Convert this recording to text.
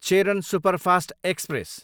Cheran superfast express